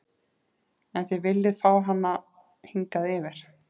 En þið viljið fá hana hingað yfir?